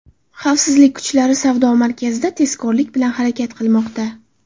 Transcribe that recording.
Xavfsizlik kuchlari savdo markazida tezkorlik bilan harakat qilmoqda.